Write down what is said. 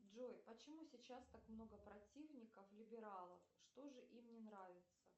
джой почему сейчас так много противников либералов что же им не нравится